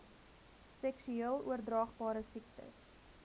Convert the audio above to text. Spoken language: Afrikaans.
seksueel oordraagbare siektes